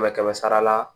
Kɛmɛ kɛmɛ sara la